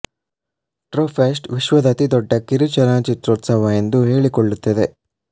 Tropfest ವಿಶ್ವದ ಅತಿ ದೊಡ್ಡ ಕಿರು ಚಲನಚಿತ್ರೋತ್ಸವ ಎಂದು ಹೇಳಿಕೊಳ್ಳುತ್ತದೆ